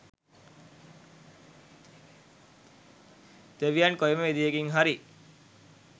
දෙවියන් කොයිම විදිහකින් හරි